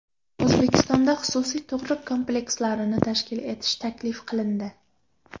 O‘zbekistonda xususiy tug‘ruq komplekslarini tashkil etish taklif qilindi.